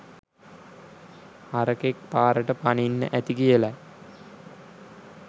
හරකෙක් පාරට පනින්න ඇති කියලයි.